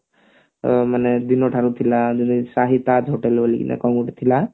ଅ ମାନେ ଦିନ ଠାରୁ ଥିଲା ଶାହି ତାଜ hotel ବୋଲିକି କଣ ଗୋଟେ ଥିଲା